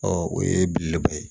Ɔ o ye belebeleba ye